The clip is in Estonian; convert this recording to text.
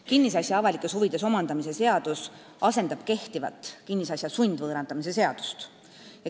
Kinnisasja avalikes huvides omandamise seadus asendab kehtivat kinnisasja sundvõõrandamise seadust.